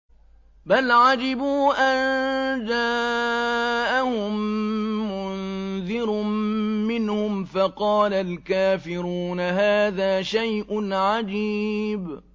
بَلْ عَجِبُوا أَن جَاءَهُم مُّنذِرٌ مِّنْهُمْ فَقَالَ الْكَافِرُونَ هَٰذَا شَيْءٌ عَجِيبٌ